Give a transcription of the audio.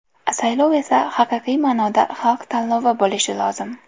Saylov esa haqiqiy ma’noda xalq tanlovi bo‘lishi lozim.